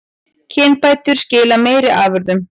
Kynbætur skila meiri afurðum